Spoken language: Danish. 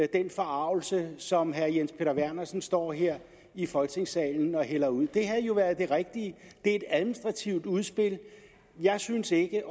den forargelse som herre jens peter vernersen står her i folketingssalen og hælder ud det havde jo været det rigtige det er et administrativt udspil jeg synes ikke jeg